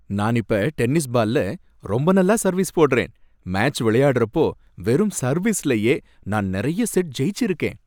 நான் இப்ப டென்னிஸ் பால்ல ரொம்ப நல்லா சர்வீஸ் போடறேன். மேட்ச் விளையாடறப்போ வெறும் சர்வீஸ்லயே நான் நறைய செட் ஜெயிச்சு இருக்கேன்.